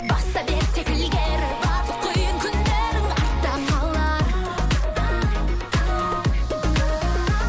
баса бер тек ілгері барлық қиын күндерің артта қалар